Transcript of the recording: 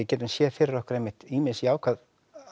getum séð fyrir okkur einmitt ýmis jákvæð